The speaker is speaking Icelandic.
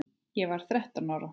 Ég var þrettán ára.